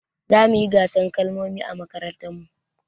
Zamuyi gasar kalmomi a mmakarantar mu